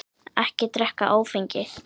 Ekki drekka áfengi.